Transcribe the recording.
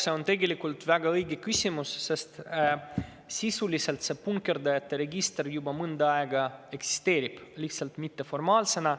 See on tegelikult väga õige küsimus, sest sisuliselt see punkerdajate register eksisteerib juba mõnda aega, lihtsalt mitteformaalsena.